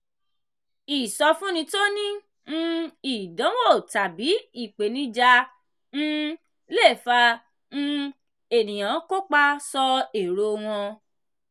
ìsọfúnni tó ní um ìdánwò tàbí ìpèníjà um le fà um ènìyàn kópa sọ èrò wọn.